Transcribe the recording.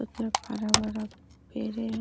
एते क हरा भरा पेड़े है ।